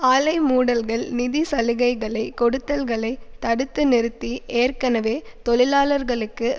ஆலை மூடல்கள் நிதி சலுகைகளை கொடுத்தல்களை தடுத்து நிறுத்தி ஏற்கனவே தொழிலாளர்களுக்கு